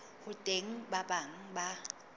ho teng ba bang ba